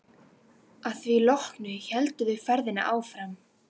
Að því loknu héldu þau ferðinni áfram.